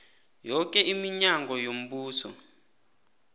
yoke iminyango yombuso